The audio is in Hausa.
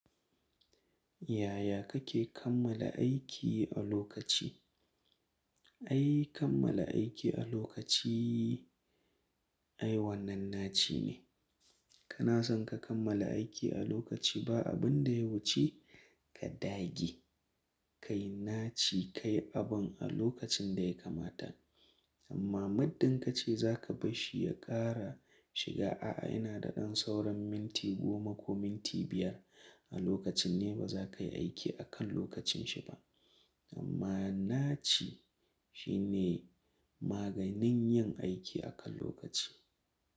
Yaya kake kammala aiki a lokaci? Ai kammala aiki a lokaci ai wannan naci ne. Kana son ka kammala aiki a lokaci ba abin da ya wuce ka dage. Kai naci kai abun a lokacin da ya kamata. Amma muddin ka ce za ka bashi ya ƙara shiga, a'a ina da ɗan sauran minti goma ko minti biyar a lokacin ne ba za ka yi aiki a kan lokacinshi ba. Amma naci shine maganin yin aiki a kan lokaci.